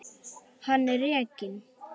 Hann er rekinn.